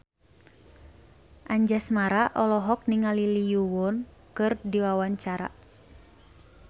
Anjasmara olohok ningali Lee Yo Won keur diwawancara